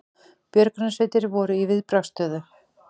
Björgunarsveitir voru í viðbragðsstöðu